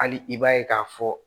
Hali i b'a ye k'a fɔ